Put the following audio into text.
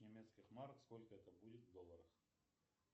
немецких марок сколько это будет в долларах